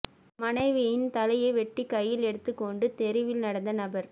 மனைவியின் தலையை வெட்டி கையில் எடுத்துக் கொண்டு தெருவில் நடந்த நபர்